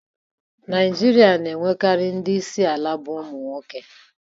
Naijiria n'enwekarị ndị isi ala bụ ụmụ nwoke